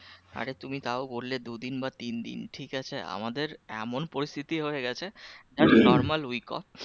আরে তুমি তাও বললে দুদিন বা তিন দিন ঠিক আছে আমাদের এমন পরিস্থিতি হয়ে গেছে normal week off